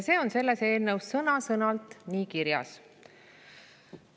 See on selles eelnõus sõna-sõnalt kirjas.